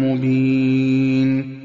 مُّبِينٍ